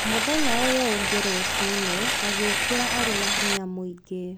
Mũthenya ũyũ ũngĩ rũcinĩ, agĩũkĩra arĩ na hinya mũingĩ.